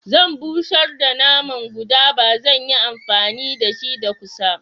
Zan bushar da naman guda ba zan yi amfani dashi da kusa.